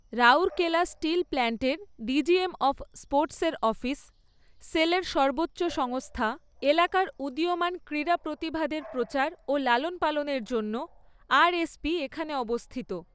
Rourkela steel প্ল্যান্টের DGM of স্পোর্টসের office, সেলের সর্বোচ্চ সংস্থা, এলাকার উদীয়মান ক্রীড়া প্রতিভাদের প্রচার ও লালন পালনের জন্য আরএসপি এখানে অবস্থিত।